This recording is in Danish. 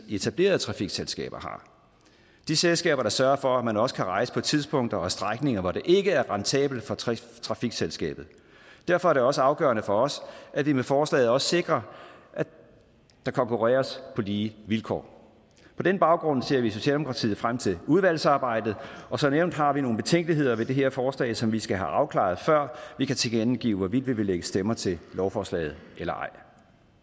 etablerede trafikselskaber har de selskaber der sørger for at man også kan rejse på tidspunkter og på strækninger hvor det ikke er rentabelt for trafikselskabet derfor er det også afgørende for os at vi med forslaget også sikrer at der konkurreres på lige vilkår på den baggrund ser vi i socialdemokratiet frem til udvalgsarbejdet og som nævnt har vi nogle betænkeligheder ved det her forslag som vi skal have afklaret før vi kan tilkendegive hvorvidt vi vil lægge stemmer til lovforslaget eller ej